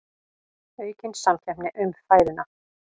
Aukin samkeppni um fæðuna